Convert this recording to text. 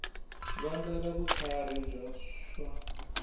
vandla ra vutlharhi bya swa